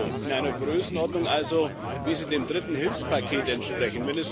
EUR, in einer Größenordnung also, wie sie dem dritten Hilfspaket entspricht.